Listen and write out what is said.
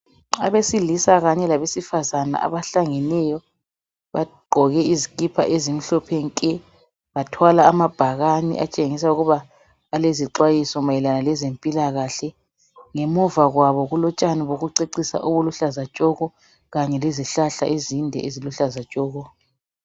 Abesilisa kanye labesifazana abahlangeneyo bagqoke izikipa ezimhlophe nke. Bathwala amabhakane atshengisa ukuba alezixwayiso mayelana lezempilakahle . Ngemuva kwabo kulotshani bokucecisa obuluhlaza tshoko kanye lezihlahla ezinde eziluhlaza tshoko.